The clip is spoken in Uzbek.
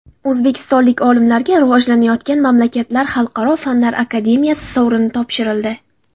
O‘zbekistonlik olimlarga Rivojlanayotgan mamlakatlar xalqaro fanlar akademiyasi sovrini topshirildi.